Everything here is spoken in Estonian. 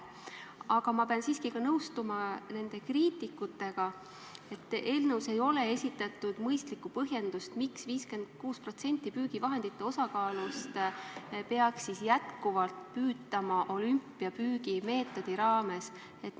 Aga ma pean siiski ka nõustuma kriitikutega, et eelnõus ei ole esitatud mõistlikku põhjendust, miks 56% puhul püügivahendite osakaalust peaks jätkuvalt toimuma püük olümpiapüügi meetodi raames.